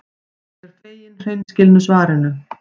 Ég er fegin hreinskilnu svarinu.